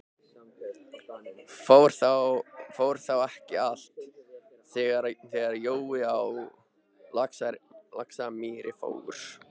Fór þá ekki allt, þegar hann Jói á Laxamýri fór?